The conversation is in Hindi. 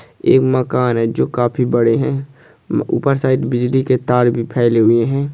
एक मकान है जो काफी बड़े है म ऊपर शायद बिजली के तार भी फेले हुए है।